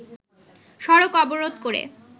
সড়ক অবরোধ করে